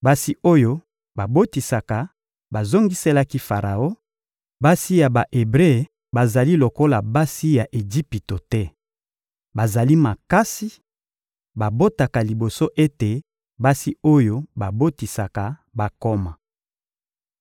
Basi oyo babotisaka bazongiselaki Faraon: — Basi ya Ba-Ebre bazali lokola basi ya Ejipito te. Bazali makasi, babotaka liboso ete basi oyo babotisaka bakoma.